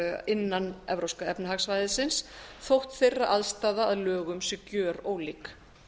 innan e e s þótt þeirra aðstaða að lögum sé gjörólík